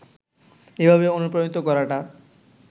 এভাবে অনুপ্রাণিত করাটা